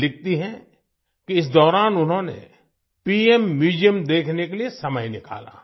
वे लिखती हैं कि इस दौरान उन्होंने पीएम म्यूजियम देखने के लिए समय निकाला